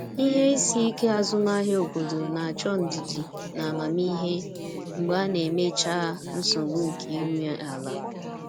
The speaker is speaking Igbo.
Ihe isi ike azụmahịa obodo na-achọ ndidi na amamihe mgbe a na-emechaa nsogbu nke ị nwe ala.